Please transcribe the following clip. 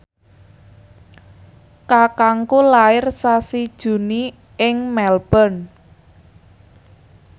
kakangku lair sasi Juni ing Melbourne